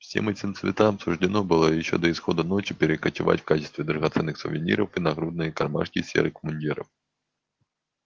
всем этим цветам суждено было ещё до исхода ночи перекочевать в качестве драгоценных сувениров в нагрудные кармашки серых мундиров